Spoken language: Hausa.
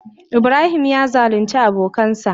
Ibrahim ya zalunce abokansa.